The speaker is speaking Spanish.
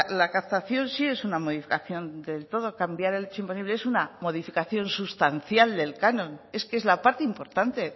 la captación sí es una modificación del todo cambiar el hecho imponible es una modificación sustancial del canon es que es la parte importante